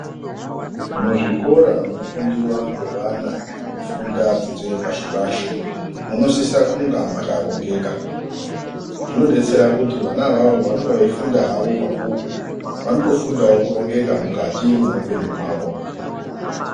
Muzvikora munofundiwa ngevana vanofunda dzidzo yepashi pashi munosise kunga mwakarongeka zvinodetsera kuti vana avawo pavanenge veifunda hawo mabhuku vanoto fundawo kurongeka mukati mweupenyu hwavo.